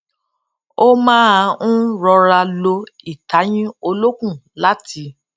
ó máa n rọra lo ìtayín olókùn láti